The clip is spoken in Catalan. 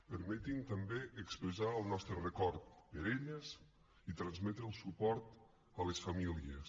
permeti’m també expressar el nostre record per a elles i transmetre el suport a les famílies